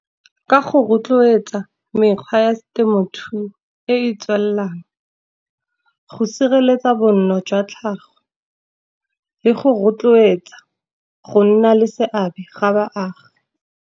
Ka go rotloetsa mekgwa ya temothuo e e tswelelang, go sireletsa bonno jwa tlhago, le go rotloetsa go nna le seabe ga baagi.